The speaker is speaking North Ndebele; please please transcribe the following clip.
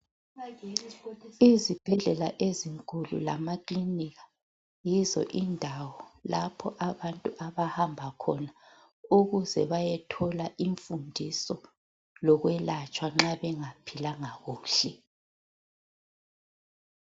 Izibhedlela ezinkulu lamakliniki yizo indawo lapho abantu abahamba khona ukuze bayethola imfundiso lokwelatshwa nxa bengaphilanga kuhle.